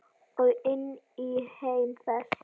Og inn í heim þess.